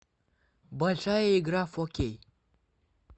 большая игра в хоккей